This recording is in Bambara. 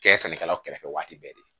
Kɛ sannikɛlaw kɛrɛfɛ waati bɛɛ